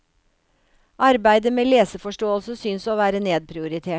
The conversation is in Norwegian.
Arbeidet med leseforståelse synes å være nedprioritert.